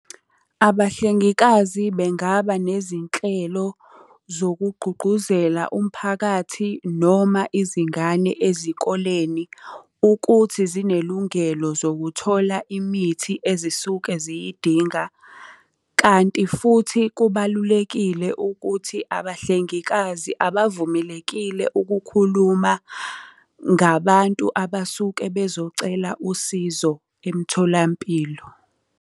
Abahlengikazi bengaba nezinhlelo zokugqugquzela umphakathi noma izingane ezikoleni ukuthi zinelungelo zokuthola imithi ezisuke ziyidinga. Kanti futhi kubalulekile ukuthi abahlengikazi abavumelekile ukukhuluma ngabantu abasuke bezocela usizo emtholampilo.